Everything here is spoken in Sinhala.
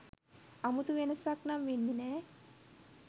අමුතු වෙනසක් නං වෙන්නෙ නෑ